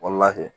Wala kɛ